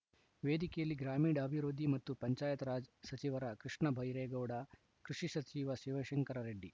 ವೇದಿಕೆಯಲ್ಲಿ ಗ್ರಾಮೀಣಾಭಿವೃದ್ಧಿ ಮತ್ತು ಪಂಚಾಯತ್‌ ರಾಜ್‌ ಸಚಿವ ಕೃಷ್ಣಬೈರೇಗೌಡ ಕೃಷಿ ಸಚಿವ ಶಿವಶಂಕರ ರೆಡ್ಡಿ